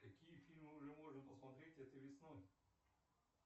какие фильмы уже можно посмотреть этой весной